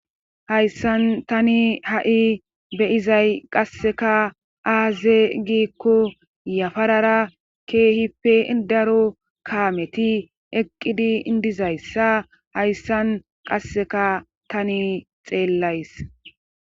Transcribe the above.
hayssan tani ha7i beyizay qasseka aaze giikko yafarara keehippe daro kaameti eqqidi indizayssa hayssan qasseka tani xeellays